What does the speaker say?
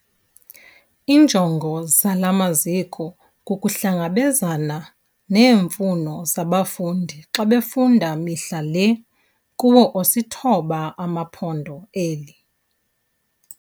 Iinjongo zala maziko kukuhlangabezana neemfuno zabafundi xa befunda mihla le kuwo osithoba amaPhondo eli.